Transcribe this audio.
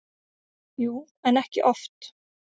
Jú, en ekki oft.